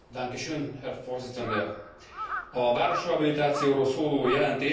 A városrehabilitációról szóló jelentés a kohéziós politika egyik fontos eleme.